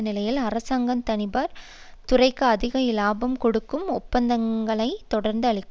நிலையில் அரசாங்கம் தனியார் துறைக்கு அதிக இலாபம் கொடுக்கும் ஒப்பந்தங்களை தொடர்ந்து அளிக்கிறது